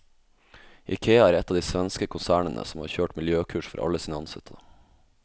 Ikea er ett av de svenske konsernene som har kjørt miljøkurs for alle sine ansatte.